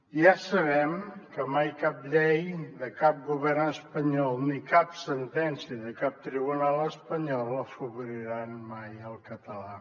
ja sabem que mai cap llei de cap govern espanyol ni cap sentència de cap tribunal espanyol afavoriran mai el català